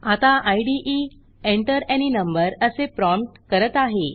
आता इदे Enter any number असे प्रॉम्प्ट करत आहे